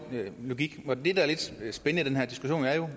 logik men det der er lidt spændende i den her diskussion er jo